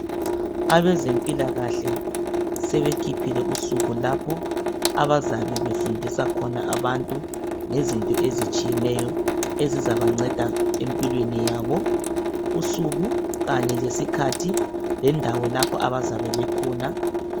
Abezempilakahle sebekhiphile usuku lapho abazabe befundisa khona abantu ngezinto ezinengi ezizabanceda empilweni yabo usuku kanye lesikhathi lendawo lapho abazabe bekhona